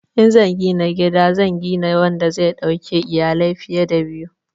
In zan gina gida zan gina wanda zai dauki iyalai fiye da biyu.